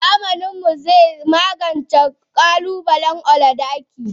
Zamaninmu zai magance kalubalen oligarchy.